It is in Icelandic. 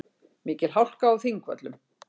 Mikil hálka á Þingvöllum